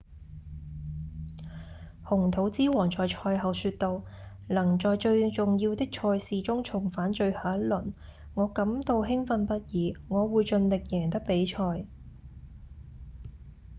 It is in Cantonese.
紅土之王在賽後說道：「能在最重要的賽事中重返最後一輪我感到興奮不已我會盡力贏得比賽」